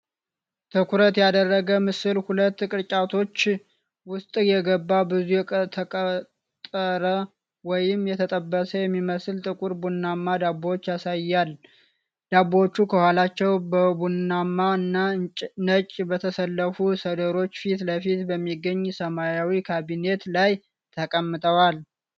ትኩረት ያደረገው ምስል ሁለት ቅርጫቶች ውስጥ የገቡ ብዙ የተቀጠረ ወይም የተጠበሰ የሚመስሉ ጥቁር ቡናማ ዳቦዎችን ያሳያል። ዳቦዎቹ ከኋላው በቡናማ እና ነጭ በተሰለፉ ሰድሮች ፊት ለፊት በሚገኝ ሰማያዊ ካቢኔት ላይ ተቀምጠዋል።